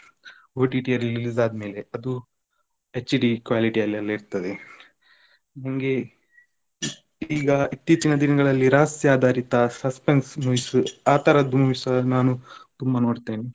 OTT ಅಲ್ಲಿ release ಆದ್ಮೇಲೆ ಅದು HD quality ಅಲ್ಲಿ ಎಲ್ಲಾ ಇರ್ತದೆ. ನಂಗೆ ಈಗ ಇತ್ತೀಚಿನ ದಿನಗಳಲ್ಲಿ ರಹಸ್ಯ ಆದರಿಥ suspense movies ಆತರದ್ದು movies ನಾನು ತುಂಬಾ ನೋಡ್ತೇನೆ.